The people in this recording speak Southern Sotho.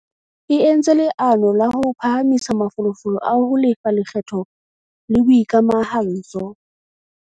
E entse leano la ho phahamisa mafolofolo a ho lefa lekgetho le boikamahantso.